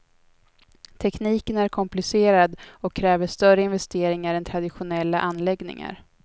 Tekniken är komplicerad och kräver större investeringar än traditionella anläggningar.